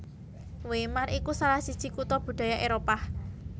Weimar iku salah siji kutha budaya Éropah